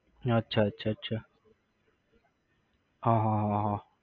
અચ્છા અચ્છા અચ્છા હા હા હા હા